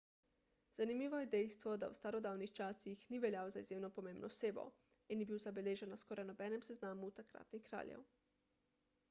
zanimivo je dejstvo da v starodavnih časih ni veljal za izjemno pomembno osebo in ni bil zabeležen na skoraj nobenem seznamu takratnih kraljev